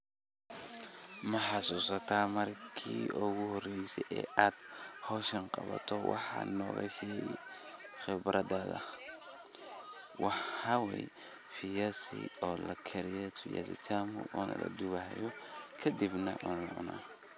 Ma xasusata marki ogu horeyse ad hoshan qabato waxad nogashegi qibradadha maxa wayeh viyasi oo lakariye viyasi tamu ona ladubayo kadib nah lacuno.